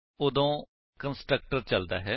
ਉਦੋਂ ਕੰਸਟਰਕਟਰ ਚਲਦਾ ਹੈ